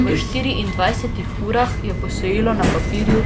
V štiriindvajsetih urah je posojilo na papirju